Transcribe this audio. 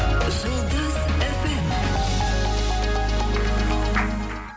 жұлдыз эф эм